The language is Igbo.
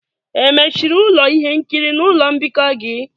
Emechiri ụlọ ihe nkiri na ụlọ mbikọ gị?